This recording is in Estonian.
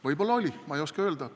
Võib-olla oli, ma ei oska öelda.